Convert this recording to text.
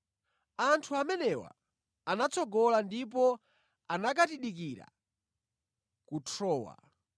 Anthu amenewa anatsogola ndipo anakatidikira ku Trowa.